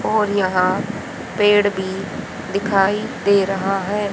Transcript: और यहां पेड़ भी दिखाई दे रहा है।